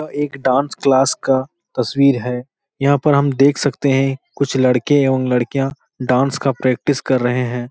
यह एक dance class का तस्वीर है। यहाँ पर हम देख सकते हैं कुछ लड़के एवं लडकिया डांस का प्रैक्टिस कर रहे हैं।